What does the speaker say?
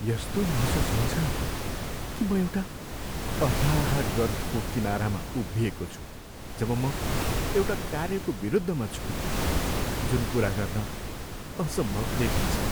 यस्तो महसुस हुन्छ कि म एउटा अथाह गर्तको किनारमा उभिएको छु जब म एउटा कार्यको विरुद्धमा छु जुन पुरा गर्न असम्भव देखिन्छ।